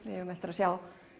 við eigum eftir að sjá